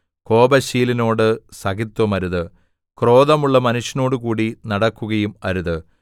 കോപശീലനോടു സഖിത്വമരുത് ക്രോധമുള്ള മനുഷ്യനോടുകൂടി നടക്കുകയും അരുത്